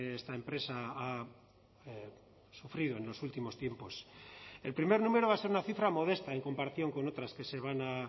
esta empresa ha sufrido en los últimos tiempos el primer número va a ser una cifra modesta en comparación con otras que se van a